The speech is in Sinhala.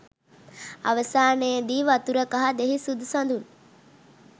අවසානයේදී වතුර කහ දෙහි සුදු සඳුන්